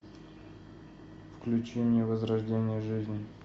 включи мне возрождение жизни